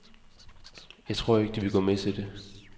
Jeg tror ikke, de vil gå med til det.